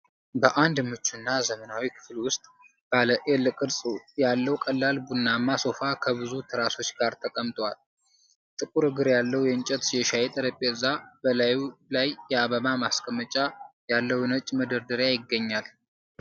በአንድ ምቹና ዘመናዊ ክፍል ውስጥ፣ ባለ ኤል-ቅርጽ ያለው ቀላል ቡናማ ሶፋ ከብዙ ትራሶች ጋር ተቀምጥል። ጥቁር እግር ያለው የእንጨት የሻይ ጠረጴዛ፣ በላዩ ላይ የአበባ ማስቀመጫ ያለው ነጭ መደርደሪያ ይገኛል።